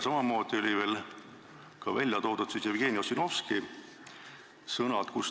Samamoodi olid veel välja toodud Jevgeni Ossinovski sõnad.